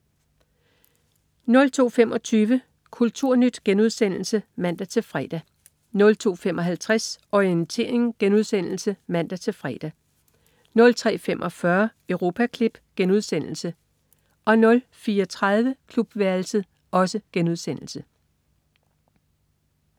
02.25 Kulturnyt* (man-fre) 02.55 Orientering* (man-fre) 03.45 Europaklip* 04.30 Klubværelset*